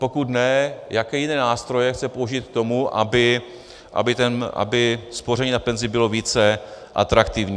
Pokud ne, jaké jiné nástroje chce použít k tomu, aby spoření na penzi bylo více atraktivní.